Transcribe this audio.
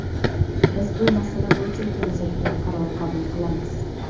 Biz bu masala bo‘yicha kelajakda qaror qabul qilamiz”.